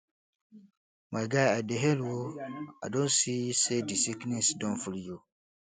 my guy i dey hail o i don see sey di sickness don free you